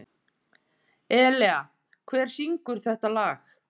Elea, hver syngur þetta lag?